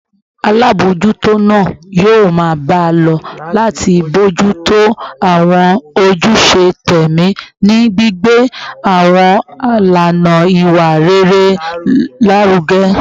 Alámòójútó náà yóò máa bá a lọ láti bójú tó àwọn ojúṣe tẹ̀mí, ní gbígbé àwọn ìlànà ìwà rere lárugẹ